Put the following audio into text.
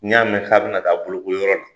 N y'a mɛn k'a bɛna taa boloko yɔrɔ la,